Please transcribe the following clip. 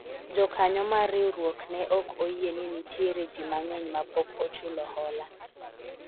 jokanyo mar riwruokne ok oyie ni nitiere jii mang'eny ma pok ochulo hola